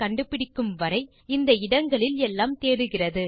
கண்டுபிடிக்கும் வரை இந்த இடங்களில் எல்லாம் தேடுகிறது